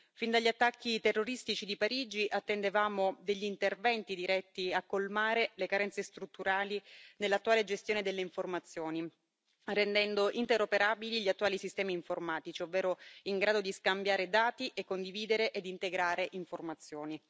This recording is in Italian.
Fin dagli attacchi terroristici di Parigi attendevamo degli interventi volti a colmare le carenze strutturali nell'attuale gestione delle informazioni, rendendo interoperabili gli attuali sistemi informatici, ovvero in grado di scambiare dati e condividere e integrare informazioni.